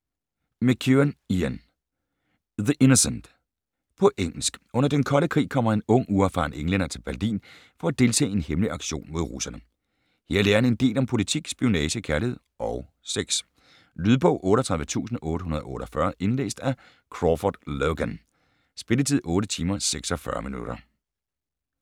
McEwan, Ian: The innocent På engelsk. Under den kolde krig kommer en ung, uerfaren englænder til Berlin for at deltage i en hemmelig aktion mod russerne. Her lærer han en del om politik, spionage, kærlighed og sex. Lydbog 38848 Indlæst af Crawford Logan. Spilletid: 8 timer, 46 minutter.